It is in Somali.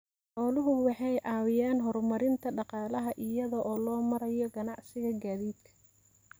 Xooluhu waxay caawiyaan horumarinta dhaqaalaha iyada oo loo marayo ganacsiga gaadiidka.